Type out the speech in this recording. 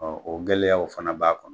o gɛlɛyaw fana b'a kɔnɔ.